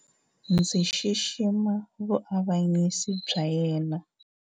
ndzi xixima vuavanyisi bya yena